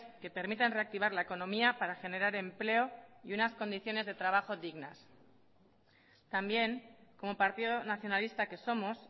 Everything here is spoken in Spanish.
que permitan reactivar la economía para generar empleo y unas condiciones de trabajo dignas también como partido nacionalista que somos